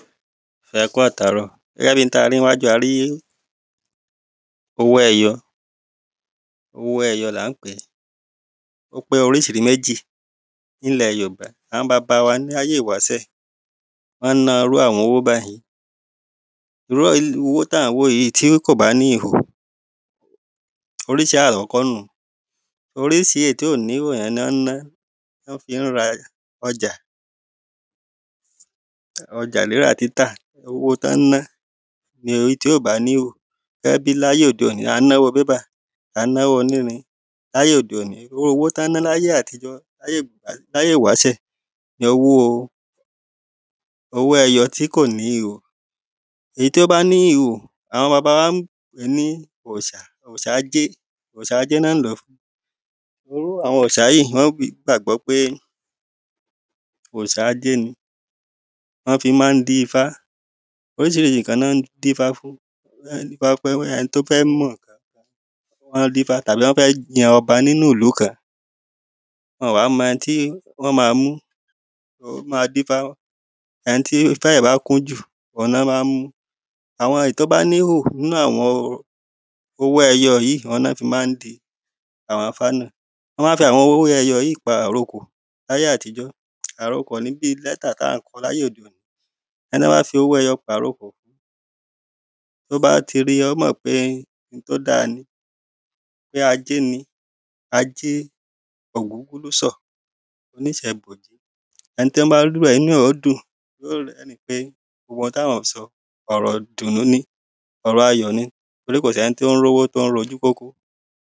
ẹ kú àtàárọ̀. ẹ rí ohun tí a rí níwájú wa yìí, a rí owó ẹyọ, owó ẹyọ là ń pèé ó pé oríṣi méjì ní ilẹ̀ jorùbá. Àwọn bàbá wa láyé ìwásẹ̀, wọ́n na irú àwọn owó báyìí owó tí a rí yìí, tí kò bá ní ihò, oríṣi àkọ́kọ́ nuun. oríṣi èyí tí kò ní ihò òun ni wọ́n ń ná, ni wọ́n fi ń ra ọjà. ọjà rírà, títà, owó tọ́ ń ná ni èyí tí ò bá ní ihò, gẹ́gẹ́ bíi ayé òde òní, a ń ná owó paper, à ń ná owó onírin. ní ayé òde òní, irú owó tí wọ́n ń na ní ayé àtijọ́, ní ayé ìwásẹ̀, ni owó ẹyọ tí kò ní ihò Èyí tó bá ní ihò, àwọn bàba wa ní òrìṣà, òrìṣà àjé ni wọ́n ń lòó fún, irú àwọn òrìṣà yìí, wọ́n gbàgbọ́ pé òrìṣà ajé ni wọ́n fi ma ń dífá. Oríṣiríṣi ǹkan ni wọ́n dífá fún, wọ́n ń dífá fún ẹni tó fẹ́ mọ̀ tàbí wọ́n fẹ́ jẹ ọba kan nínu ìlú kan, wọn ò wá mọ ẹni tí wọ́n máa mú, wọ́n ma ń dífá ẹni tí ifá rẹ̀ bá kún jù òun ni wọ́n máa ń mú, àwọn èyí tó bá ní ìhò nínú àwọn owó ẹyọ yìí, òun ni wọ́n fi ma ń dí àwọn ìfá náà wọ́n ma ń fi àwọn owó ẹyọ yìí pa àrokò ní ayé àtijọ́, àrokò ni bíi lẹ́tà tí à ń kọ láyé òde òní. ẹni tí wọ́n bá fi owó ẹyọ pa àrọ́kọ̀ fún, tó bá ti rí, ó mọ̀ pé ohun tí ó dáa ni, pé ajé ni, ajé òkùnkùnìsò, ó ní só bojì ẹni tí ó bá rí irú rẹ̀ inú rẹ̀ yóò dùn yóò rẹrin pé gbogbo ohun tí wọ́n sọ ọ̀rọ̀ ìdùnnú ni, ọ̀rọ̀ ayọ̀ ni, nítorí kò sí ẹni tí ó rí owó tí ó ń rójú kókó